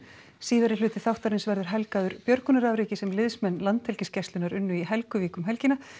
síðari hluti þáttarins verður helgaður björgunarafreki sem liðsmenn Landhelgisgæslunnar unnu í Helguvík um helgina